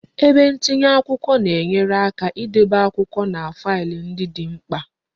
Ebe ntinye akwụkwọ na enyere aka idebe akwụkwọ na faịlụ ndị dị mkpa